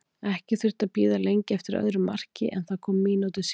Ekki þurfti að bíða lengi eftir öðru marki en það kom mínútu síðar.